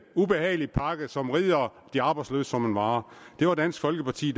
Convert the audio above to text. ubehagelig pakke som rider de arbejdsløse som en mare det var dansk folkeparti